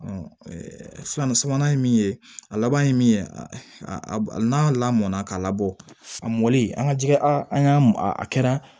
sabanan ye min ye a laban ye min ye n'a lamɔna k'a labɔ a mɔlen an ka jɛgɛ an ka a kɛra